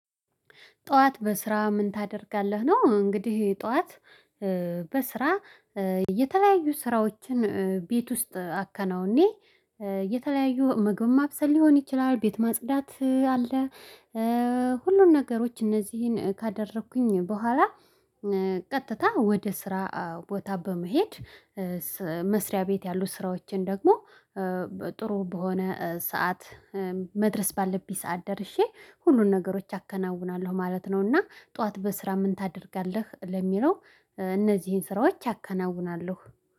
ጥዋት በስራ ምን ታደርጋለህ ነው? እንግዲህ ጠዋት በስራ የተለያዩ ስራዎችን ቤት ውስጥ አከናውኜ የተለያዩ ምግብም ማብሰል ሊሆን ይችላል ቤት ማጽዳት አለ። ሁሉን ነገሮች እነዚህን ካደረኩኝ በኋላ ቀጥታ ወደ ስራ ቦታ በመሄድ መስሪያ ቤት ያሉ ስራዎቼን ደግሞ ጥሩ በሆነ ሰዓት መድረስ ባለብኝ ሰዓት ደርሼ ሁሉን ነገሮች አከናውናለሁ ማለት ነው። እና ጠዋት በስራ ምን ታደርጋለህ? ለሚለው እነዚህን ስራዎች አከናውናለሁ